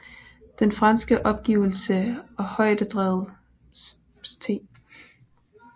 Den franske opgivelse af højdedraget St